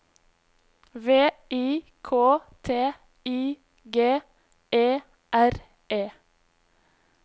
V I K T I G E R E